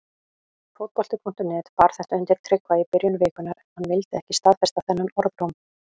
Fótbolti.net bar þetta undir Tryggva í byrjun vikunnar en hann vildi ekki staðfesta þennan orðróm.